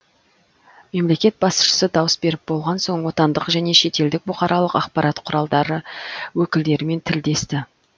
мемлекет басшысы дауыс беріп болған соң отандық және шетелдік бұқаралық ақпарат құралдары өкілдерімен тілдесті